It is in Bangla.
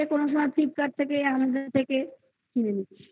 flipkart থেকে amazon থেকে কিনে নিচ্ছি।